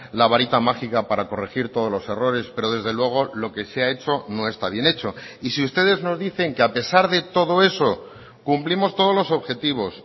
la varita mágica para corregir todos los errores pero desde luego lo que se ha hecho no está bien hecho y si ustedes nos dicen que a pesar de todo eso cumplimos todos los objetivos